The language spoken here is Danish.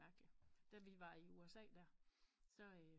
Mærkeligt da vi var i USA der så